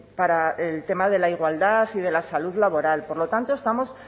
para el tema de la igualdad y de la salud laboral por lo tanto estamos